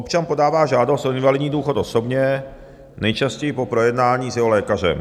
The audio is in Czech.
Občan podává žádost o invalidní důchod osobně, nejčastěji po projednání s jeho lékařem.